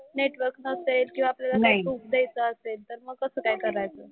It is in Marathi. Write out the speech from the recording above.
नेटवर्क नसेल किंवा आपल्याला प्रूफ द्यायचं असेल तर मग कसं काय करायचं?